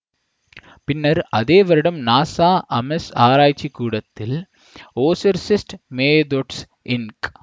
பின்னர் அதே வருடம் நாசா அமெஸ் ஆராய்ச்சி கூடத்தில் ஒசெர்செஸ்ட் மேதொட்ஸ் இன்க்